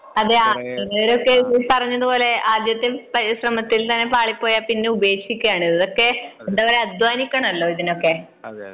അതെ ഇപ്പറഞ്ഞത് പോലെ ആദ്യത്തെ പരിശ്രമത്തിൽ തന്നെ പാളിപ്പോയാൽ പിന്നെ ഉപേക്ഷിക്കുകയാണ് . പക്ഷെ ഇതൊക്കെ അധ്വാനിക്കണമല്ലോ ഇതിനൊക്കെ